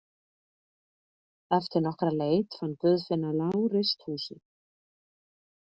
Eftir nokkra leit fann Guðfinna lágreist húsið.